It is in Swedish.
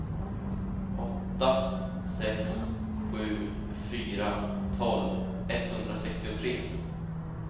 åtta sex sju fyra tolv etthundrasextiotre